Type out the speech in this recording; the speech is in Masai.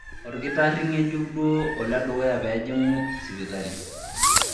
Olkitarri ng'ejuk duo oledukuya pee ejing'u sipitali.